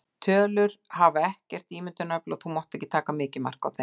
Tölur hafa ekkert ímyndunarafl og þú mátt því ekki taka mikið mark á þeim.